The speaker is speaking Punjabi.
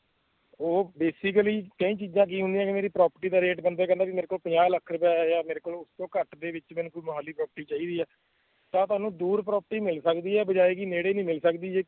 ਉਹ basically ਕਈ ਚੀਜ਼ਾਂ ਕੀ ਹੁੰਦੀਆਂ ਜਿਵੇਂ property ਦੀ rate ਬੰਦਾ ਕਹਿੰਦਾ ਵੀ ਮੇਰੇ ਕੋਲ ਪੰਜਾਹ ਲੱਖ ਰੁਪਇਆ ਹੈ ਜਾਂ ਮੇਰੇ ਕੋਲ ਉਸ ਤੋਂ ਘੱਟ ਦੇ ਵਿੱਚ ਮੈਨੂੰ ਕੋਈ ਮੁਹਾਲੀ property ਚਾਹੀਦੀ ਹੈ, ਤਾਂ ਤੁਹਾਨੂੰ ਦੂਰ property ਮਿਲ ਸਕਦੀ ਹੈ ਬਜਾਏ ਕਿ ਨੇੜੇ ਨੀ ਮਿਲ ਸਕਦੀ ਜੇ